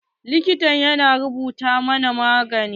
Likitan ya rubuta mana magani.